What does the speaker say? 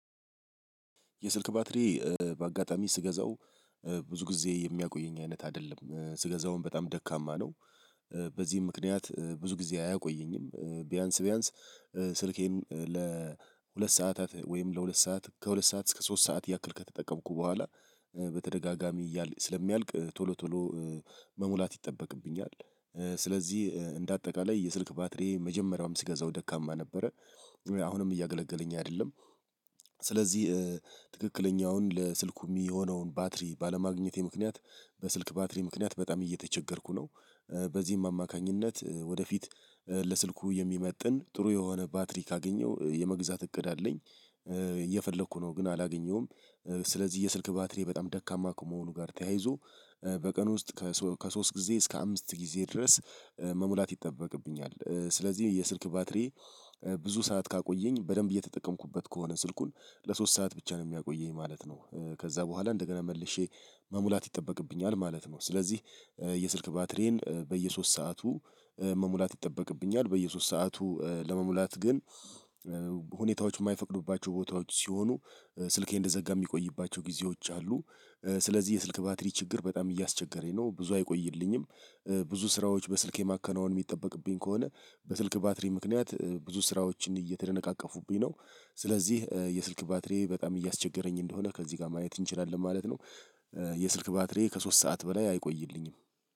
የስልክ ባትሪ በአጋጣሚ ስገዛው ብዙ ጊዜ የሚያቆየኝ አይነት አይደለም ስገዛውም በጣም ደካማ ነው። በዚህ ምክንያት ብዙ ጊዜ አያቆየኝም ቢያንስ ቢያንስ ስልኬን ለሁለት ሰዓታት ወይም ለሁለት ሰዓት ከሁለት ሰዓት እስከ ሶስት ሰዓት ያክል ከተጠቀምኩ በኋላ በተደጋጋሚ እያለ ስለሚያልቅ ቶሎ ቶሎ መሙላት ይጠበቅብኛል። ስለዚህ እንደ አጠቃላይ የስልክ ባትሪዬ መጀመሪያውም ስገዛው ደካማ ነበረ አሁንም እያገለገለኝ አይደለም። ስለዚህ ትክክለኛውን ለስልኩ ሚሆነውን ባትሪ ባለማግኘቴ ምክንያት በስልክ ባትሪ ምክንያት በጣም እየተቸገርኩ ነው። በዚህም አማካኝነት ወደፊት ለስልኩ የሚመጥን ጥሩ የሆነ ባትሪ ካገኘው የመግዛት እቅድ አለኝ። እየፈለኩ ነው ግን አላገኘሁም። ስለዚህ የስልክ ባትሪዬ በጣም ደካማ ከመሆኑ ጋር ተያይዞ በቀን ውስጥ ከሶ ከሶስት ጊዜ እስከ አምስት ጊዜ ድረስ መሙላት ይጠበቅብኛል። ስለዚህ የስልክ ባትሪ ብዙ ሰዓት ካቆየኝ በደንብ እየተጠቀምኩበት ከሆነ ስልኩን ለሶስት ሰዓት ብቻ ነው ሚያቆየኝ ማለት ነው። ከዛ በኋላ እንደገና መልሼ መሙላት ይጠበቅብኛል ማለት ነው። ስለዚህ የስልክ ባትሪዬን በየሶስት ሰዓቱ መሙላት ይጠበቅብኛል በየሶስት ሰዓቱ ለመሙላት ግን ሁኔታዎች እማይፈቅዱባቸው ቦታዎች ሲሆኑ ስልኬ እንደዘጋ እሚቆይባቸው ጊዜዎች አሉ። ስለዚህ የስልክ ባትሪ ችግር በጣም እያስቸገረኝ ነው ብዙ አይቆይልኝም። ብዙ ስራዎች በስልክ የማከናወን የሚጠበቅብኝ ከሆነ በስልክ ባትሪ ምክንያት ብዙ ስራዎችን እየተደነቃቀፉብኝ ነው። ስለዚህ የስልክ ባትሪዬ በጣም እያስቸገረኝ እንደሆነ ከዚህ ጋር ማየት እንችላለን ማለት ነው። የስልክ ባትሪዬ ከሶስት ሰዓት በላይ አይቆይልኝም።